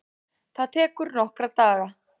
Það tekur nokkra daga.